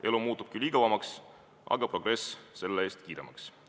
Elu muutub küll igavamaks, aga progress selle eest kiiremaks.